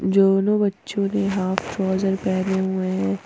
दोनों बच्चों ने हाफ फ्रोजन पहने हुए हैं।